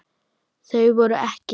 Þau voru EKKI.